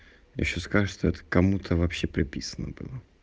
ещё скажи что это кому-то вообще прописано было